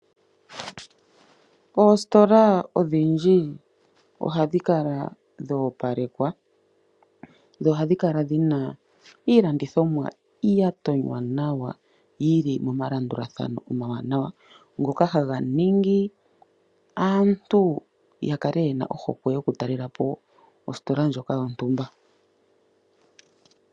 Oositola odhindji ohadhi kala dhoopalekwa dho ohadhi kala dhina iilandithomwa yatonywa nawa yili momalandulathano omawanawa, ngoka haga ningi aantu yakale yena ohokwe yoku talela po ositola ndjoka.